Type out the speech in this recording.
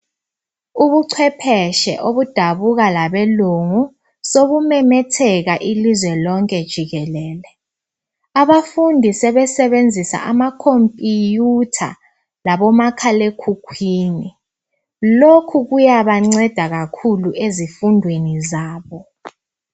Ubucwepheshe obudabuka labelungu sobumemetheka ilizwe lonke jikelele abafundi sebesebenzisa amakhophiyutha labomakhalekhukhwini lokhu kuyabanceda kakhulu ezifundwenu zabo.